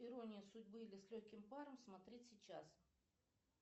ирония судьбы или с легким паром смотреть сейчас